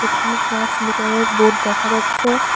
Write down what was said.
এখানে ট্রান্সমিটার -এর বোর্ড দেখা যাচ্ছে।